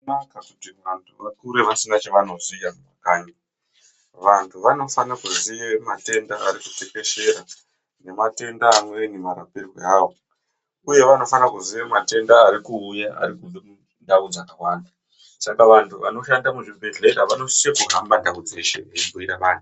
Basa kuti vanhu vakure vasina chavanoziya kumakanyi. Vanhu vanofana kuziye matenda arikutekeshera nematenda amweni marapiro awo uye vanofana kuziya matenda arikuuya arikubve kundau dzakawanda. Saka vanhu vanoshanda muzvibhedhlera vanosise kuhamba ndau dzeshe vechibhuira vanhu.